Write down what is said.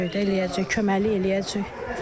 Görəcəyik, eləyəcəyik, köməklik eləyəcəyik.